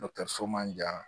so man jan